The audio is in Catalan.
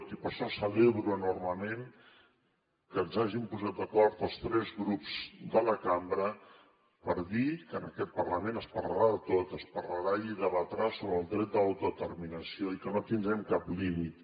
i per això celebro enormement que ens hàgim posat d’acord els tres grups de la cambra per dir que en aquest parlament es parlarà de tot es parlarà i es debatrà sobre el dret a l’autodeterminació i que no tindrem cap límit